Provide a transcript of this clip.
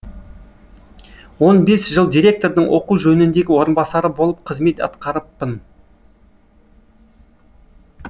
он бес жыл директордың оқу жөніндегі орынбасары болып қызмет атқарыппын